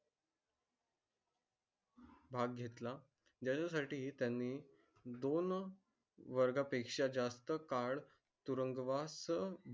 भाग घेतला. त्यासाठी त्यांनी दोन वर्गा पेक्षा जास्त card तुरुंगवास